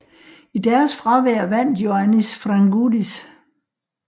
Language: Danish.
I deres fravær vandt Ioannis Frangoudis